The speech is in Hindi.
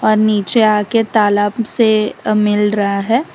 नीचे आ के तालाब से अह मिल रहा है।